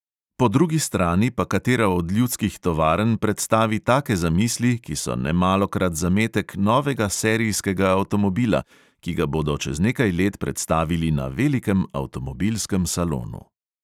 Po drugi strani pa katera od ljudskih tovarn predstavi take zamisli, ki so nemalokrat zametek novega serijskega avtomobila, ki ga bodo čez nekaj let predstavili na velikem avtomobilskem salonu.